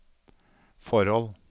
forhold